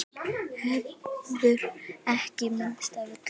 Hefurðu ekki minnst af öllum?